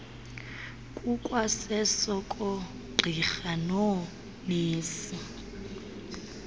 kukwaseso koogqirha noonesi